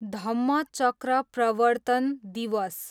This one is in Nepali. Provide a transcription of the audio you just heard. धम्मचक्र प्रवर्तन दिवस